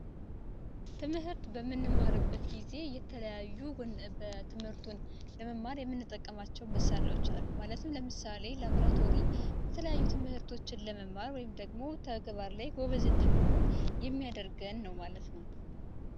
ትምህርት በምንማርበት ጊዜ የተለያዩ በትምህርቱን ለመማር የምንጠቀማቸው መሳሪያዎች አሉ ማለት ነው። ለምሳሌ ላብራቶሪ የተለያዩ ትምህርቶችን ለመማር ወይም ደግሞ ተግባር ላይ ጎበዝ እንድንሆን የሚያደርገን ነው ማለት ነው።